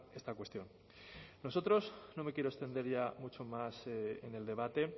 esta cuestión nosotros no me quiero extender mucho más en el debate